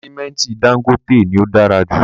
Sìmẹ́ntì Dangote ni o dára jù